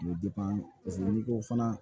U bɛ paseke olu ko fana